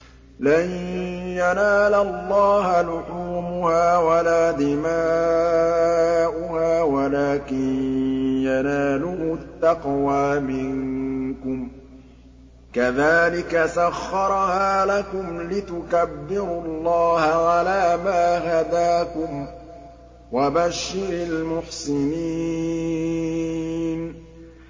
لَن يَنَالَ اللَّهَ لُحُومُهَا وَلَا دِمَاؤُهَا وَلَٰكِن يَنَالُهُ التَّقْوَىٰ مِنكُمْ ۚ كَذَٰلِكَ سَخَّرَهَا لَكُمْ لِتُكَبِّرُوا اللَّهَ عَلَىٰ مَا هَدَاكُمْ ۗ وَبَشِّرِ الْمُحْسِنِينَ